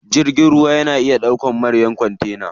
Jirgin ruwa na iya ɗaukan manyan kontena.